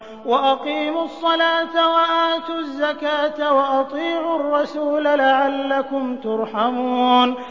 وَأَقِيمُوا الصَّلَاةَ وَآتُوا الزَّكَاةَ وَأَطِيعُوا الرَّسُولَ لَعَلَّكُمْ تُرْحَمُونَ